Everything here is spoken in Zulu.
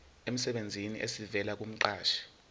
emsebenzini esivela kumqashi